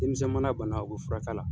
Denmisɛn mana bana o bɛ furak'a la.